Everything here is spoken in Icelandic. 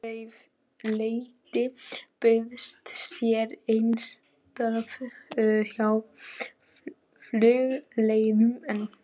Á bara að setja mann í útgöngubann?